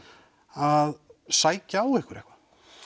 að sækja á ykkur eitthvað